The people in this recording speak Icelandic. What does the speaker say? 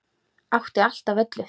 Átti allt af öllu.